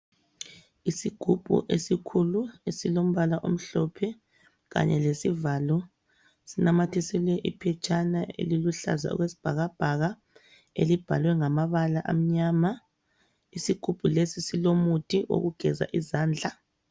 Isiggubu esikhulu esilombala omhlophe kanye lesivalo sinamathiselwe iphetshana eliluhlaza okwesibhakabhaka, elibhalwe ngamabala amnyama. Isigubhu lesi silomuthi wokugeza izandla.